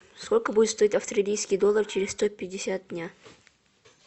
сколько будет стоить австралийский доллар через сто пятьдесят дня